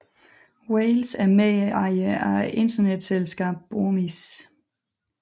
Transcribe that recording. Wales er medejer af internetselskabet Bomis